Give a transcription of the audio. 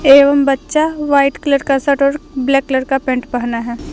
एवं बच्चा white colour का शर्ट और ब्लैक कलर का पैंट पहना है।